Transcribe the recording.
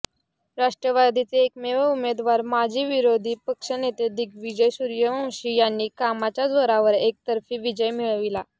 राष्ट्रवादीचे एकमेव उमेदवार माजी विरोधी पक्षनेते दिग्विजय सूर्यवंशी यांनी कामाच्या जोरावर एकतर्फी विजय मिळविला